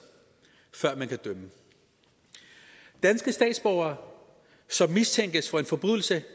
før man kan dømme danske statsborgere som mistænkes for en forbrydelse